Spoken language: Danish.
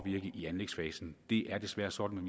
i anlægsfasen det er desværre sådan